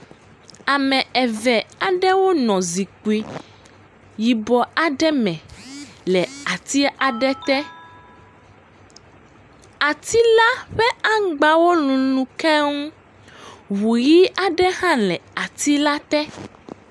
Ame eve aɖewo nɔ zikpui yibɔ aɖe me le ati aɖe te, ati la ƒe aŋgbawo l ukeŋ, ŋu ʋi aɖe hã le ati la te.